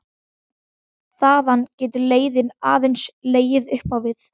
Þaðan getur leiðin aðeins legið upp á við.